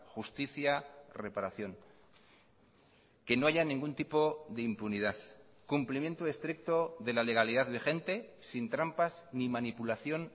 justicia reparación que no haya ningún tipo de impunidad cumplimiento estricto de la legalidad vigente sin trampas ni manipulación